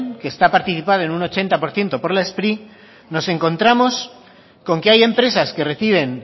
que está participado un ochenta por ciento por la spri nos encontramos con que hay empresas que reciben